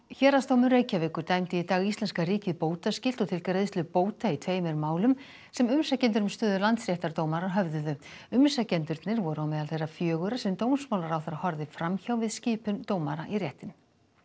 héraðsdómur Reykjavíkur dæmdi í dag íslenska ríkið bótaskylt og til greiðslu bóta í tveimur málum sem umsækjendur um stöðu landsréttardómara höfðuðu umsækjendurnir voru á meðal þeirra fjögurra sem dómsmálaráðherra horfði fram hjá við skipun dómara í réttinn